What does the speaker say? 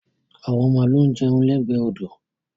Àwọn màlúù ń jẹun lẹ́gbẹ̀ẹ́ odò.